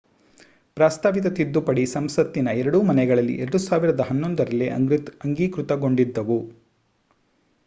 ಪ್ರಸ್ತಾಪಿಸಿದ ತಿದ್ದುಪಡಿ ಸಂಸತ್ತಿನ ಎರಡೂ ಮನೆಗಳಲ್ಲಿ 2011ರಲ್ಲೇ ಅಂಗೀಕೃತಗೊಂಡಿದ್ದವು